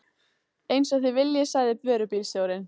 Eins og þið viljið sagði vörubílstjórinn.